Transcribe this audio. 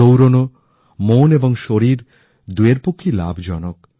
দৌড়ানো মন এবং শরীর দুয়ের পক্ষেই লাভজনক